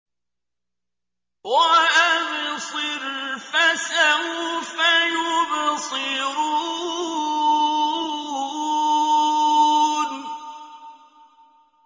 وَأَبْصِرْ فَسَوْفَ يُبْصِرُونَ